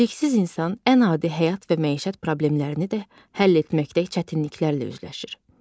Biliksiz insan ən adi həyat və məişət problemlərini də həll etməkdə çətinliklərlə üzləşir.